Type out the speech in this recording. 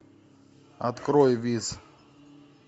открой виз